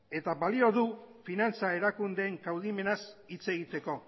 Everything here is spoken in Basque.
eta balio du finantza erakundeen kaudimenaz hitz egiteko